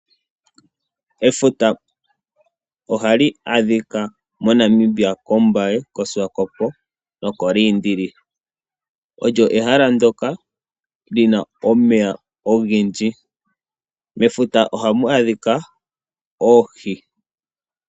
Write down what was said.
Efuta ohali adhika mo Namibia kOmbaye, koSwakopmund noshowo ko Luderitz, olyo ehala ndoka lina omeya ogendji. Mefuta ohamu adhika oohi.